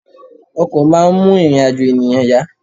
Ọkọ̀ máa ń mú ìrìn-àjò ènìyàn yá.